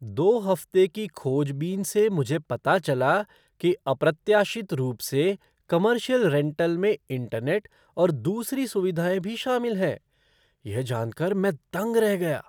दो हफ़्ते की खोजबीन से मुझे पता चला कि अप्रत्याशित रूप से, कमर्शियल रेंटल में इंटरनेट और दूसरी सुविधाएँ भी शामिल हैं। यह जान कर मैं दंग रह गया।